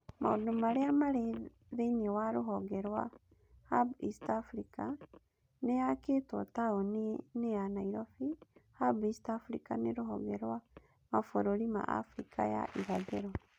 Maũndũ Marĩa Marĩ Thĩinĩ wa Ruhonge rwa Hub East Africa: Nĩ yakĩtwo Taũni-inĩ ya Nairobi, Hub East Africa nĩ rũhonge rwa mabũrũri ma Abirika ya Irathĩro